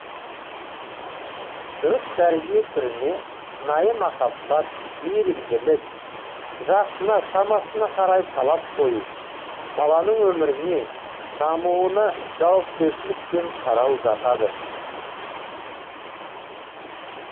дұрыс тәрбие түріне шынайы махаббат мейірімділік жасына шамасына қарай талап қою баланың өміріне дамуына жауапкершілікпен қарау жатады